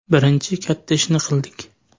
Birinchi katta ishni qildik.